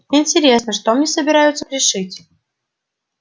интересно что мне собираются пришить